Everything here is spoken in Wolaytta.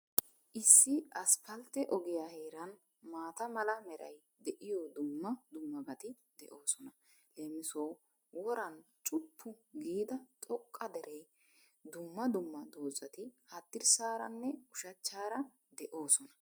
Issi asppaltte ogiya heeran, maata mala meray de'iyo dumma dummabati de'oosona. Leem. Woran cuppu giida xoqqa deree, dumma dumma dozati haddirssaaranne ushachchaara de'oosona.